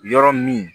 Yɔrɔ min